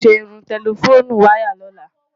Máa ṣe irun tẹlifónú wayà lóla.